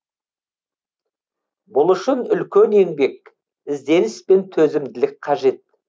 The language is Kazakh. бұл үшін үлкен еңбек ізденіс пен төзімділік қажет